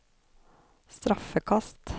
straffekast